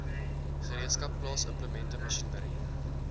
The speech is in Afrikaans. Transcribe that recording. gereedskap plaasimplemente masjinerie